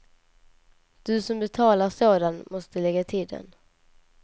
Du som betalar sådan måste lägga till den.